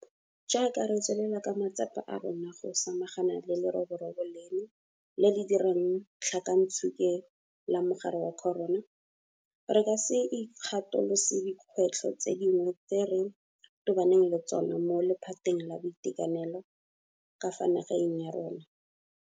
Jaaka re tswelela ka matsapa a rona go sa-magana le leroborobo leno le le dirang tlhakantsuke la mogare wa corona, re ka se ikgatolose dikgwetlho tse dingwe tse re tobaneng le tsona mo laphateng la boitekanelo ka fa nageng ya rona.